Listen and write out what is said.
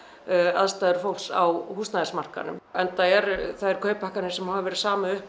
aðstæður fólks á húsnæðismarkaðnum enda eru þær kauphækkanir sem hafa verið samið um